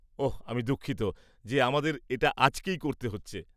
ওহ, আমি দুঃখিত যে আমাদের এটা আজকেই করতে হচ্ছে।